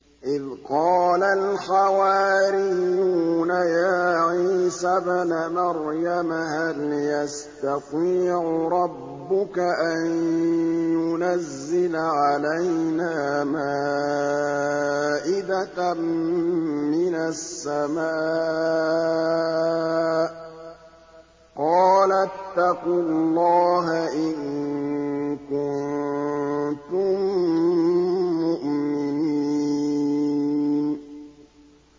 إِذْ قَالَ الْحَوَارِيُّونَ يَا عِيسَى ابْنَ مَرْيَمَ هَلْ يَسْتَطِيعُ رَبُّكَ أَن يُنَزِّلَ عَلَيْنَا مَائِدَةً مِّنَ السَّمَاءِ ۖ قَالَ اتَّقُوا اللَّهَ إِن كُنتُم مُّؤْمِنِينَ